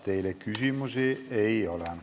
Teile küsimusi ei ole.